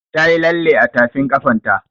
Ta yi lalle a tafin ƙafan ta